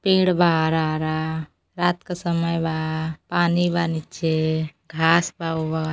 पेड़ बा हरा हरा रात क समय बा पानी बा नीचे घांस बा वोहर।